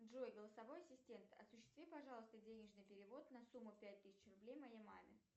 джой голосовой ассистент осуществи пожалуйста денежный перевод на сумму пять тысяч рублей моей маме